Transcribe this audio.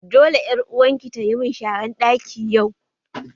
Dole ƴar uwarki tayi mun sharan ɗaki yau